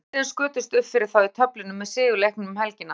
Mílanó liðin skutust uppfyrir þá í töflunni með sigur leikum um helgina.